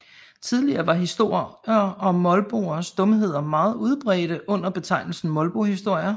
Tidligere var historier om molboers dumheder meget udbredte under betegnelsen molbohistorier